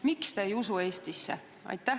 Miks te ei usu Eestisse?